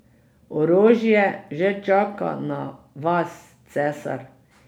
Orožje že čaka na vas, cesar.